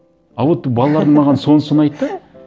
а вот балалардың маған сонысы ұнайды да